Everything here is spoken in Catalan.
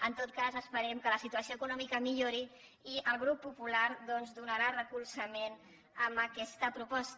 en tot cas esperem que la situació econòmica millori i el grup popular doncs donarà suport a aquesta proposta